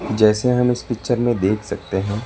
जैसे हम इस पिक्चर में देख सकते हैं।